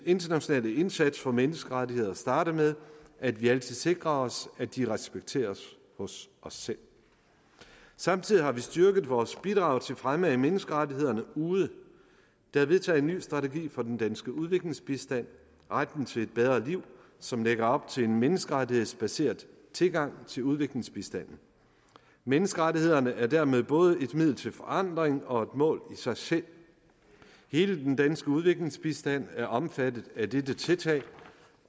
internationale indsats for menneskerettigheder starter med at vi altid sikrer os at de respekteres hos os selv samtidig har vi styrket vores bidrag til fremme af menneskerettighederne ude der er vedtaget en ny strategi for den danske udviklingsbistand retten til et bedre liv som lægger op til en menneskerettighedsbaseret tilgang til udviklingsbistanden menneskerettighederne er dermed både et middel til forandring og et mål i sig selv hele den danske udviklingsbistand er omfattet af dette tiltag